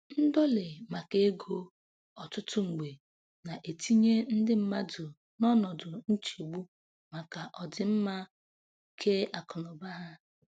Ndọlị maka ego ọtụtụ mgbe na-etinye ndị mmadụ n'ọnọdụ nchegbu maka ọdịmma keakụnaụba ha.